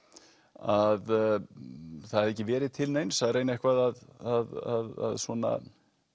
að það hefði ekki verið til neins að reyna eitthvað að svona